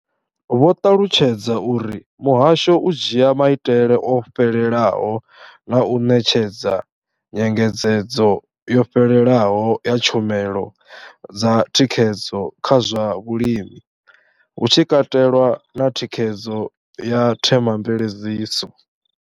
Vho ṱalutshedza uri muhasho u dzhia maitele o fhelelaho na u ṋetshedza nyengedzedzo yo fhelelaho ya tshumelo dza thikhedzo kha zwa vhulimi, hu tshi katelwa na thikhedzo ya themamveledziso.